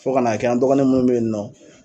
Fo ka n'a kɛ an dɔgɔnin minnu bɛ yen nɔ.